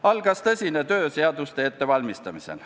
Algas tõsine töö seaduste ettevalmistamisel.